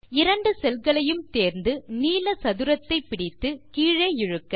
இரண்டு செல்களையும் தேர்ந்து நீல சதுரத்தை பிடித்து கீழே இழுக்க